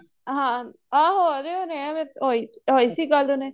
ਹਾਂ ਹਾਂ ਹੋ ਰਹੇ ਹੋਣੇਂ ਏ ਐਵੇਂ ਹੋਈ ਸੀ ਗੱਲ ਹੁਣੇ